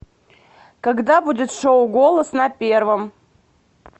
когда будет шоу голос на первом